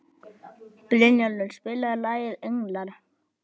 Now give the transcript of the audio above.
Brynjólfur, spilaðu lagið „Englar“.